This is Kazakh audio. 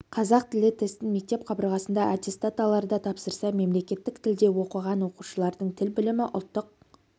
қазақ тілі тестін мектеп қабырғасында аттестат аларда тапсырса мемлекеттік тілде оқыған оқушылардың тіл білімі ұлттық